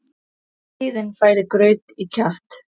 Skeiðin færir graut í kjaft.